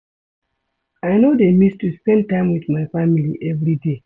I no dey miss to spend time wit my family everyday.